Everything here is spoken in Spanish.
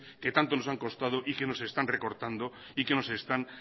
que tanto nos han costado y que nos están recortando y que nos están